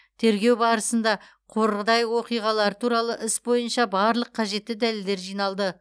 тергеу барысында қордай оқиғалары туралы іс бойынша барлық қажетті дәлелдер жиналды